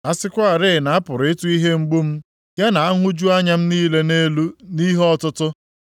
“A sịkwarị na a pụrụ ịtụ ihe mgbu m ya na nhụju anya m niile nʼelu nʼihe ọtụtụ!